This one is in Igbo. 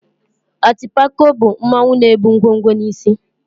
Atịpako bụ mmanwụ na-ebu ngwo ngwo n'isí.